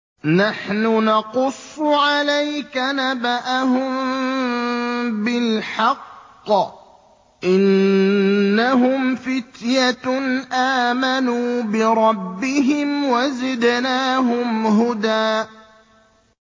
نَّحْنُ نَقُصُّ عَلَيْكَ نَبَأَهُم بِالْحَقِّ ۚ إِنَّهُمْ فِتْيَةٌ آمَنُوا بِرَبِّهِمْ وَزِدْنَاهُمْ هُدًى